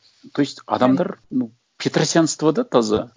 то есть адамдар ну петросянство да таза